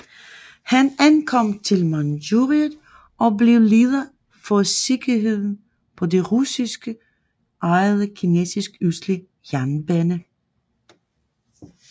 Han ankom til Manchuriet og blev leder for sikkerheden på den russisk ejede Kinesisk Østlige Jernbane